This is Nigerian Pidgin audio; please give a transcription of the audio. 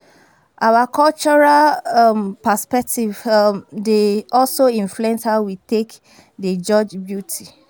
Our cultural um perspective um dey also influence how we take dey judge beauty